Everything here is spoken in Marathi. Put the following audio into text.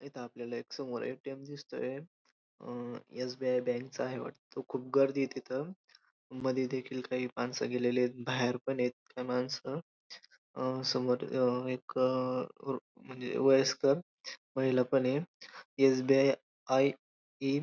इथं आपल्याला एक समोर ए.टी.एम. दिसतय अ एस.बी.आय. बँक च आहे वाटत खूप गर्दी ये तिथं मधी देखील काही माणसं गेलेली येत बाहेर पण येत काही माणसं अ समोर एक अ म्हणजे वयस्कर महिला पण ये एस.बी.आय. आय इन --